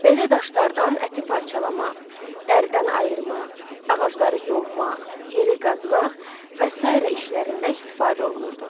Belə daşlardan əti parçalamaq, dəridən ayırmaq, ağacları yonmaq, yeri qazmaq və sairə işlərində istifadə olunurdu.